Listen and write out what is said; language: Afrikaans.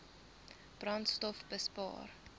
brandstofbespaar